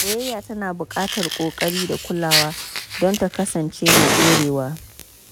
Soyayya tana buƙatar ƙoƙari da kulawa don ta kasance mai ɗorewa.